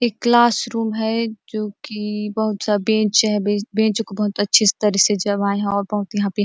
एक classroom हैं जो की बहुत सा बेंच हैं बेंच बेंच को बहुत अच्छी तरीके से जमाये है और बहुत यहाँ पे--